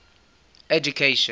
education